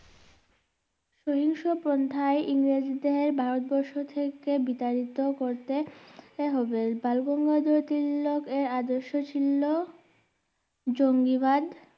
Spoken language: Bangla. সহিংস পন্থায় ইংরেজ দের ভারতবর্ষ থেকে বিতাড়িত করতে হবে বালগঙ্গাধর তিলকের আদর্স ছিলো জঙ্গিবাদ